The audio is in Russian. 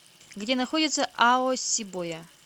где находится аосибоя